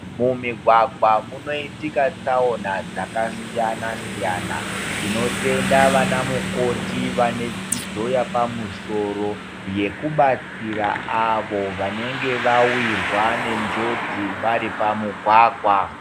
Mu migwagwa muno itika tsaona dzaka siyana siyana tino tenda vana mukoti vane dzidzo yapa musoro yeku batsira avo vanenge vawirwa ne njodzi vari pa mugwagwa.